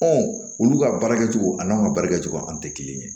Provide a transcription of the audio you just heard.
olu ka baara kɛcogo a n'an ka baarakɛcogo an tɛ kelen ye